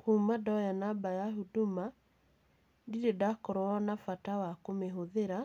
Kuuma ndoya namba ya Huduma, ndirĩ ndakorwo na bata wa kũmĩhũthira